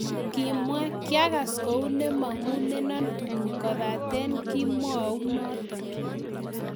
Kimwa, "kiagas kou ne mong'unenon tuguk kobaten kimou noton."